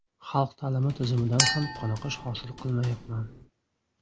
Xalq ta’limi tizimidan ham qoniqish hosil qilmayapman.